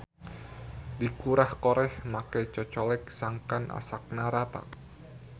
Dikurah-koreh make cocolek sangkan asakna rata.